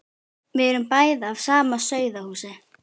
Við erum bæði af sama sauðahúsi.